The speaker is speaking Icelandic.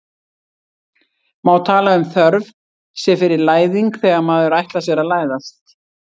má tala um þörf sé fyrir læðing þegar maður ætlar sér að læðast